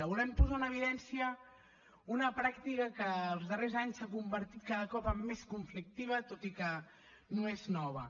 volem posar en evidència una pràctica que els darrers anys s’ha convertit cada cop en més conflictiva tot i que no és nova